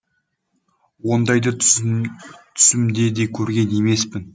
ондайды түсімде де көрген емеспін